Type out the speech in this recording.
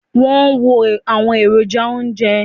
wón wo àwọn èròjà ounjẹ